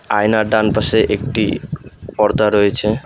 আয়নার ডানপাশে একটি পর্দা রয়েছে।